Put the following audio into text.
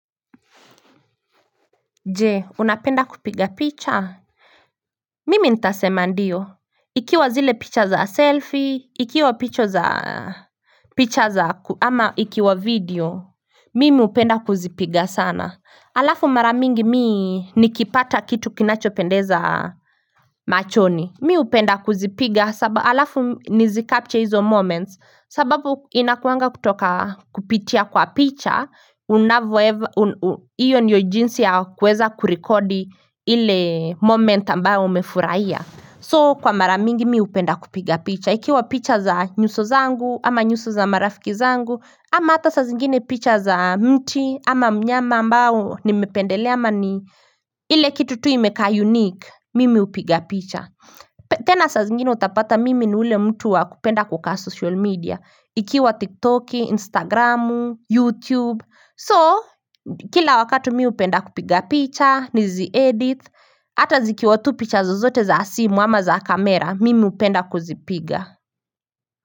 Je unapenda kupiga picha? Mimi nitasema ndio ikiwa zile picha za selfie ikiwa picha za picha za ama ikiwa video mimi hupenda kuzipiga sana alafu mara mingi mi nikipata kitu kinachopendeza machoni mi hupenda kuzipiga alafu nizikapche hizo moments sababu inakuanga kutoka kupitia kwa picha unavyoweza Iyo ndiyo jinsi ya kuweza kurekodi ile moment ambayo umefurahia. So kwa mara mingi mi hupenda kupiga picha, Ikiwa picha za nyuso zangu, ama nyuso za marafiki zangu ama hata saa zingine picha za mti ama mnyama ambaye nimependelea ama ni ile kitu tu imekaa unique Mimi hupiga picha. Tena saa zingine utapata mimi ni yule mtu waku penda kukaa social media Ikiwa tiktoki, instagramu, youtube So, kila wakati mi hupenda kupiga picha, nizi edit, ata zikiwatupicha zozote za simu ama za kamera, mimi hupenda kuzipiga.